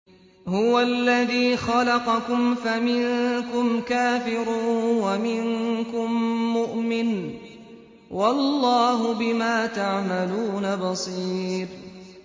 هُوَ الَّذِي خَلَقَكُمْ فَمِنكُمْ كَافِرٌ وَمِنكُم مُّؤْمِنٌ ۚ وَاللَّهُ بِمَا تَعْمَلُونَ بَصِيرٌ